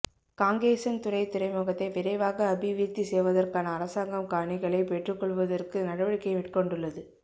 காங்கேசன்துறை துறைமுகத்தை விரைவாக அபிவிருத்தி செய்வதற்கான அரசாங்கம் காணிகளை பெற்று கொள்வதற்கு நடவடிக்கை மேற்கொண்டுள்ளது